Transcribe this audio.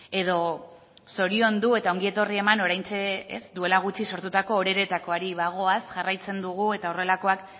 edo zoriondu eta ongietorria eman oraintxe duela gutxi sortutako oreretakoari bagoaz jarraitzen dugu eta horrelakoak